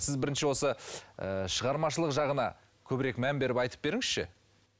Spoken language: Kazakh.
сіз бірінші осы ы шығармашылық жағына көбірек мән беріп айтып беріңізші